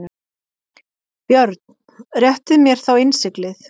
BJÖRN: Réttið mér þá innsiglið.